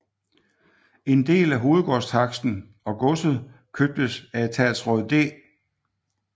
En del af hovedgårdstaksten og godset købtes af etatsråd D